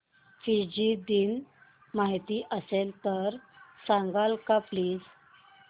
Fiji दिन माहीत असेल तर सांगाल का प्लीज